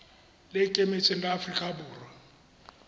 le ikemetseng la aforika borwa